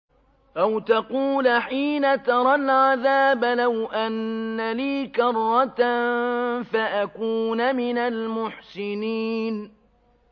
أَوْ تَقُولَ حِينَ تَرَى الْعَذَابَ لَوْ أَنَّ لِي كَرَّةً فَأَكُونَ مِنَ الْمُحْسِنِينَ